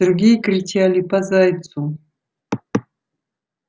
другие кричали по зайцу